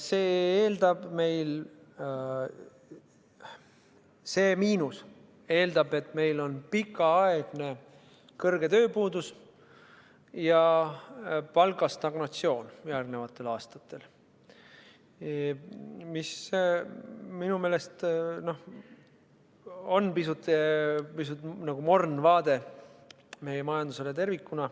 See miinus eeldab, et meil on järgnevatel aastatel pikaaegne kõrge tööpuudus ja palgastagnatsioon, mis minu meelest on pisut morn vaade meie majandusele tervikuna.